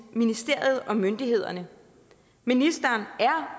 ministeriet og myndighederne ministeren er